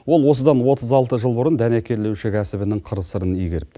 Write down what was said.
ол осыдан отыз алты жыл бұрын дәнекерлеуші кәсібінің қыр сырын игеріпті